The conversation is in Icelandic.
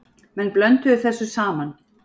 Menn blönduðu þessu saman.